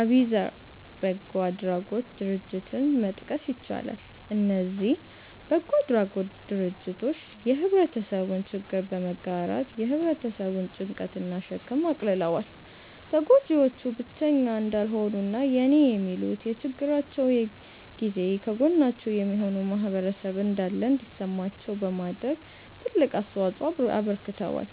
አቢዘር በጎ አድራጎት ድርጀትን መጥቀስ ይቻላል። እነዚ በጎ አድራጎት ድርጅቶች የህብረተሰቡን ችግር በመጋራት የ ህብረተሰቡን ጭንቀት እና ሸክም አቅልለዋል። ተጎጂዎቹ ብቸኛ እንዳልሆኑ እና የኔ የሚሉት፤ በችግራቸው ጊዜ ከጎናቸው የሚሆን ማህበረሰብ እንዳለ እንዲሰማቸው በማድረግ ትልቅ አስተዋጽኦ አበርክተዋል።